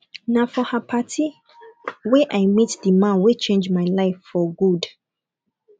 na for her party wey i meet the man wey change my life for good